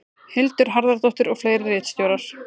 Hildur Harðardóttir og fleiri ritstjórar.